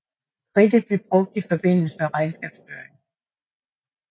Kridtet blev brugt i forbindelse med regnskabsføring